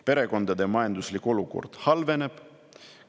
Perekondade majanduslik olukord halveneb.